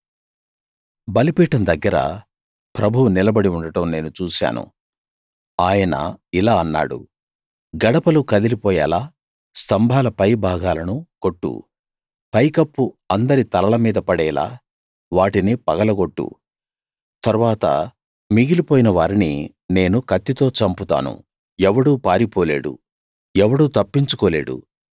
బలిపీఠం దగ్గర ప్రభువు నిలబడి ఉండడం నేను చూశాను ఆయన ఇలా అన్నాడు గడపలు కదలిపోయేలా స్తంభాల పై భాగాలను కొట్టు పై కప్పు అందరి తలల మీదా పడేలా వాటిని పగలగొట్టు తరువాత మిగిలిపోయిన వారిని నేను కత్తితో చంపుతాను ఎవడూ పారిపోలేడు ఎవడూ తప్పించుకోలేడు